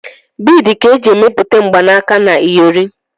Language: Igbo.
Biidi ka eji emepụta mgbanaka na iyori.